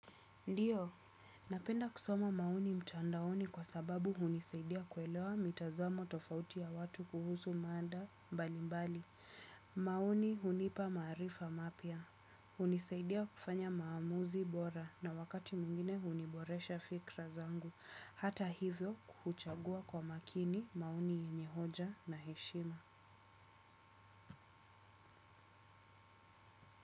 Ndiyo, napenda kusoma maoni mtandaoni kwa sababu hunisaidia kuelewa mitazamo tofauti ya watu kuhusu mada mbalimbali. Maoni hunipa maarifa mapya. Hunisaidia kufanya maamuzi bora na wakati mwingine huniboresha fikra zangu. Hata hivyo huchagua kwa makini maoni yenye hoja na heshima.